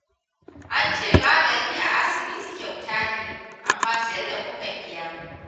An ce magani a asibitin kyauta ne, amma sai da muka biya